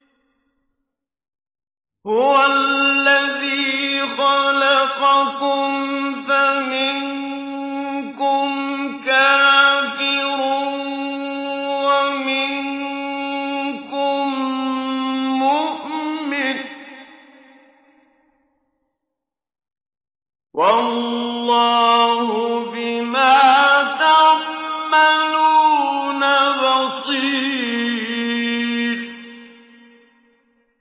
هُوَ الَّذِي خَلَقَكُمْ فَمِنكُمْ كَافِرٌ وَمِنكُم مُّؤْمِنٌ ۚ وَاللَّهُ بِمَا تَعْمَلُونَ بَصِيرٌ